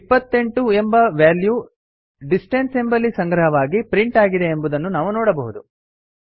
28 ಎಂಬ value distance ಎಂಬಲ್ಲಿ ಸಂಗ್ರಹವಾಗಿ ಪ್ರಿಂಟ್ ಆಗಿದೆ ಎಂದು ನಾವು ನೋಡಬಹುದು